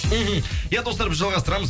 мхм иә достар біз жалғастырамыз